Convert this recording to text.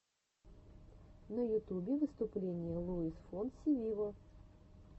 на ютубе выступление луис фонси виво